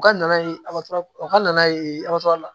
U ka na ye u ka na ye la